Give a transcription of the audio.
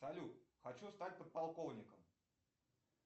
салют хочу стать подполковником